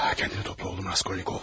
Özünə topla oğlum Raskolnikov.